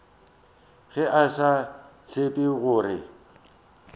ge a sa tsebe gore